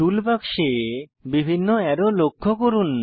টুল বাক্সে বিভিন্ন অ্যারো লক্ষ্য করুন